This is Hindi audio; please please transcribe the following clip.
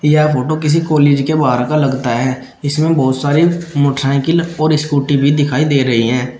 यह फोटो किसी कॉलेज के बाहर का लगता है जिसमें बहुत सारी मोटरसाइकिल और स्कूटी भी दिखाई दे रही हैं।